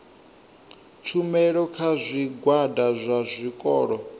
tshumelo kha zwigwada zwa zwikolo